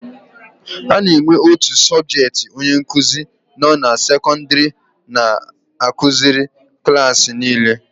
A na-enwe otu sọbjetị onye nkuzi nọ na sekọndịrị na-akụziri klaasị niile.